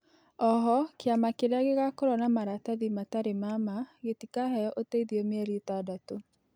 Oho kĩama kirĩa gĩgakorwo na maratathĩ matarĩ ma ma gĩtĩkaheo ũteĩthĩo mĩerĩ ĩtandatũ